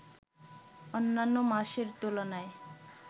অন্যান্য মাসের তুলনায়